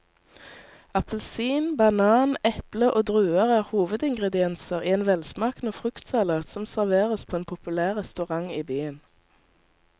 Appelsin, banan, eple og druer er hovedingredienser i en velsmakende fruktsalat som serveres på en populær restaurant i byen.